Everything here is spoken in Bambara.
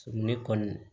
Ne kɔni